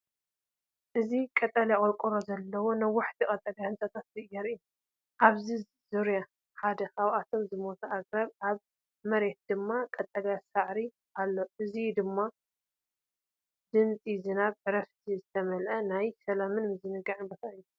እዚ ቀጠልያ ቆርቆሮ ዘለዎም ነዋሕቲ ቀጠልያ ህንጻታት የርኢ። ኣብ ዙርያ ሓደ ካብኣቶም ዝሞቱ ኣግራብ፡ ኣብ መሬት ድማ ቀጠልያ ሳዕሪ ኣሎ። እዚ ድማ ብድምጺ ዝናብን ዕረፍትን ዝተመልአ ናይ ሰላምን ምዝንጋዕን ቦታ እዩ።